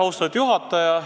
Austatud juhataja!